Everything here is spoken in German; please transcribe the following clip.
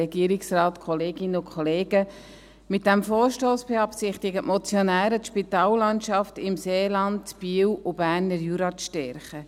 Mit diesem Vorstoss beabsichtigen die Motionäre, die Spitallandschaft im Seeland, in Biel und im Berner Jura zu stärken.